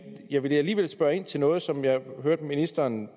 jeg vil alligevel spørge ind til noget som jeg hørte ministeren